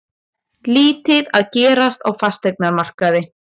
Lítið að gerast á fasteignamarkaði